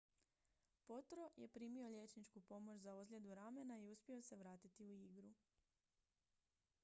potro je primio liječničku pomoć za ozljedu ramena i uspio se vratiti u igru